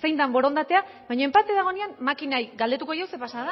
zein den borondatea baino enpate dagoenean makinari galdetuko diogu zer pasatu